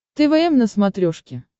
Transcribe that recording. твм на смотрешке